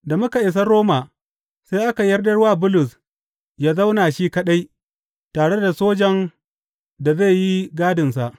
Da muka isa Roma, sai aka yarda wa Bulus yă zauna shi kaɗai, tare da sojan da zai yi gadinsa.